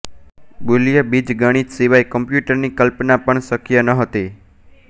બુલીય બીજગણિત સિવાય કમ્પ્યુટરની કલ્પના પણ શક્ય નહોતી